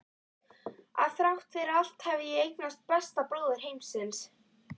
Að þrátt fyrir allt hef ég eignast besta bróður heimsins.